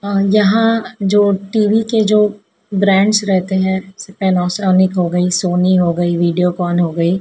हां जहां जो टी_वी के जो ब्रांड्स रहते हैं पैनासोनिक हो गई सोनी हो गई वीडियोकॉन हो गई।